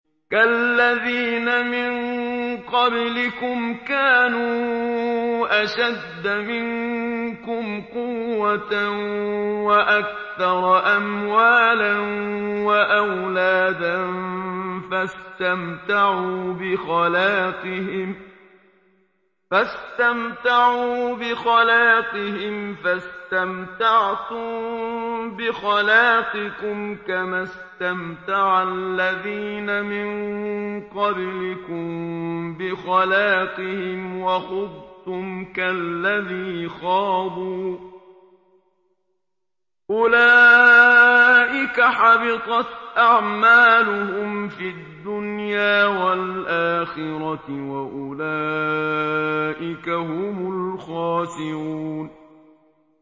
كَالَّذِينَ مِن قَبْلِكُمْ كَانُوا أَشَدَّ مِنكُمْ قُوَّةً وَأَكْثَرَ أَمْوَالًا وَأَوْلَادًا فَاسْتَمْتَعُوا بِخَلَاقِهِمْ فَاسْتَمْتَعْتُم بِخَلَاقِكُمْ كَمَا اسْتَمْتَعَ الَّذِينَ مِن قَبْلِكُم بِخَلَاقِهِمْ وَخُضْتُمْ كَالَّذِي خَاضُوا ۚ أُولَٰئِكَ حَبِطَتْ أَعْمَالُهُمْ فِي الدُّنْيَا وَالْآخِرَةِ ۖ وَأُولَٰئِكَ هُمُ الْخَاسِرُونَ